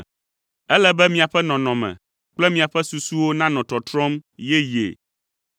Ele be miaƒe nɔnɔme kple miaƒe susuwo nanɔ tɔtrɔm yeyee,